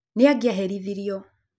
nĩ angĩaherithirio